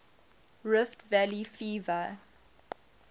rift valley fever